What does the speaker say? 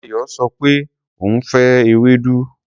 Ayọ sọ pé òun ò fẹ́ ewédú.